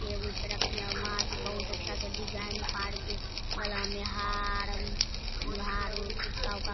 table पे रख दिया मास्क बहुत अच्छा से डिजाइन पार के गला में हार उ हार हुर टिक्का-ऊक्का --